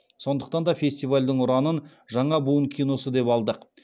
сондықтан да фестивальдің ұранын жаңа буын киносы деп алдық